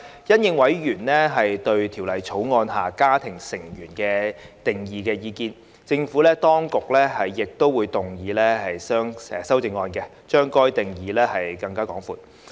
因應委員對《條例草案》下"家庭成員"定義的意見，政府當局亦會動議修正案，把該定義擴闊。